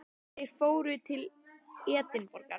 Þeir fóru til Edinborgar.